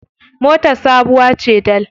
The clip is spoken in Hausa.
Motar sabuwa ce dal.